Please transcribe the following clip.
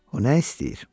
O nə istəyir?